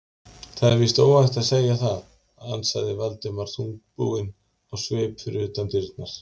Það er víst óhætt að segja það- ansaði Valdimar þungbúinn á svip fyrir utan dyrnar.